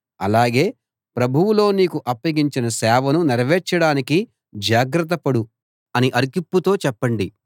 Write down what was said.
అలాగే ప్రభువులో నీకు అప్పగించిన సేవను నెరవేర్చడానికి జాగ్రతపడు అని అర్ఖిప్పుతో చెప్పండి